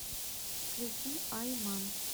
включи ай ман